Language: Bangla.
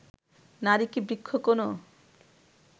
নারী কি বৃক্ষ কোনো